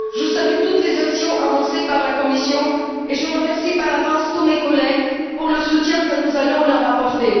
Je salue toutes les actions annoncées par la Commission et je remercie par avance tous mes collègues pour le soutien que nous allons leur apporter.